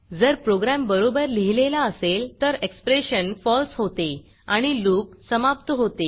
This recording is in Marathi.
जर प्रोग्रॅम बरोबर लिहिलेला असेल तर एक्सप्रेशन falseफॉल्स होते आणि loopलूप समाप्त होते